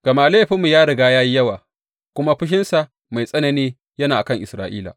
Gama laifinmu ya riga ya yi yawa, kuma fushinsa mai tsanani yana a kan Isra’ila.